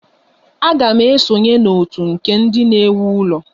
Aga m esonye na otu nke ndị na-ewu ụlọ.